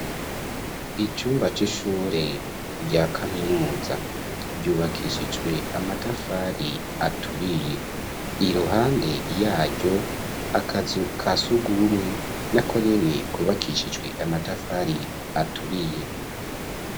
Icumba c'ishure rya kaminuza; ryubakishijwe amatafari aturiye; iruhande yaryo, akazu ka surwumwe, na ko nyene, kubakishijwe amatafari aturiye.